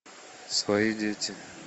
свои дети